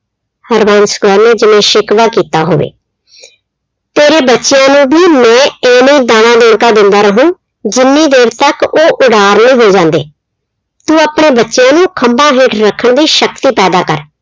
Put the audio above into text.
ਹਰਬੰਸ ਕੌਰ ਨੇ ਜਿਵੇਂ ਸ਼ਿਕਵਾ ਕੀਤਾ ਹੋਵੇ। ਤੇਰੇ ਬੱਚਿਆਂ ਨੂੰ ਵੀ ਮੈਂ ਏਵੇਂ ਦਾਣਾ ਦਿੰਦਾ ਰਹੂ, ਜਿੰਨੀ ਦੇਰ ਤੱਕ ਉਹ ਉਡਾਰ ਨੀ ਹੋ ਜਾਂਦੇ। ਤੂੰ ਆਪਣੇ ਬੱਚਿਆਂ ਨੂੰ ਖੰਭਾਂ ਹੇਠ ਰੱਖਣ ਦੀ ਸ਼ਕਤੀ ਪੈਦਾ ਕਰ।